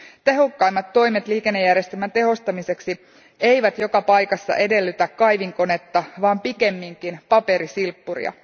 Tehokkaimmat toimet liikennejärjestelmän tehostamiseksi eivät joka paikassa edellytä kaivinkonetta vaan pikemminkin paperisilppuria.